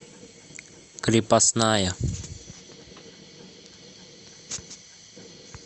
крепостная